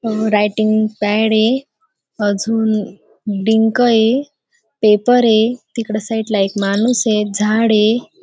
अ writing pad ये अजून डिंक ये पेपर ये तिकडं साइड ला एक माणूस ये झाड ये.